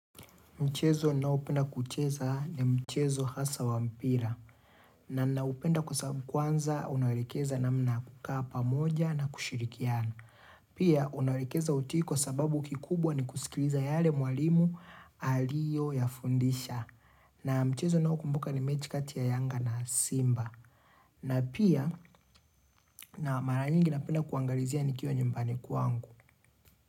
Mchezo naopenda kucheza ni mchezo hasa wa mpira. Na naupenda kwa sababu kwanza unawelekeza namna kukaa pamoja na kushirikiana. Pia unawelekeza uti kwa sababu kikubwa ni kusikiliza yale mwalimu aliyoyafundisha. Na mchezo nao kumbuka ni mechi kati ya yanga na simba. Na pia na mara nyingi napenda kuangalizia nikiwa nyumbani kwangu.